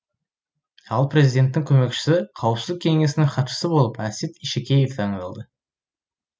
ал президенттің көмекшісі қауіпсіздік кеңесінің хатшысы болып әсет ишекеев тағайындалды